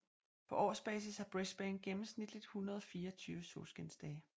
På årsbasis har Brisbane gennemsnitligt 124 solskinsdage